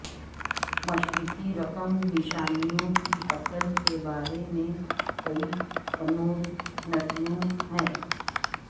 مشرقی رقم نشانیوں کی اصل کے بارے میں کئی کنودنتیوں ہیں